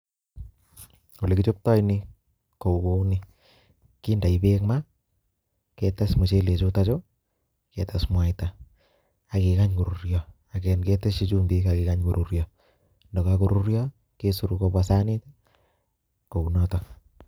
Olekichoptoi nii ko kouni, kindoi Beek ma, ketes muchele chuton chuu, ketes mwaita ak kekany koruryo ketesyi chumbik ak kikany koruryo, ndakakoruryo kesorok kobwa sanit kounoton.